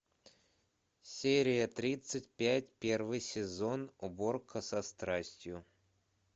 серия тридцать пять первый сезон уборка со страстью